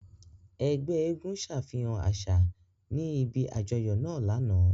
Ẹgbẹ èègún ṣafihan aṣa ni ibi ajọyọ naa lana.